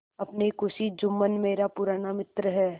अपनी खुशी जुम्मन मेरा पुराना मित्र है